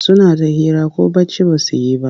Suna ta hira ko bacci ba su yi ba.